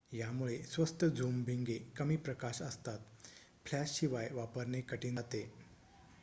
यामुळे स्वस्त झूम भिंगे कमी प्रकाश असताना फ्लॅश शिवाय वापरणे कठीण जाते